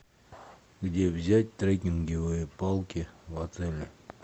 где взять трекинговые палки в отеле